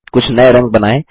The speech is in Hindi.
कुछ नये रंग बनाएँ